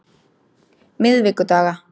miðvikudaga